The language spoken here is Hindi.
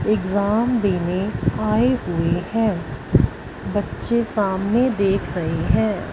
एग्जाम देने आए हुए हैं बच्चे सामने देख रहे हैं।